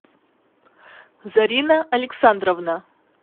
зарина александровна